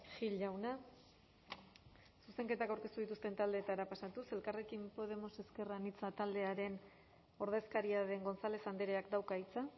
gil jauna zuzenketak aurkeztu dituzten taldeetara pasatuz elkarrekin podemos ezker anitza taldearen ordezkaria den gonzález andreak dauka hitza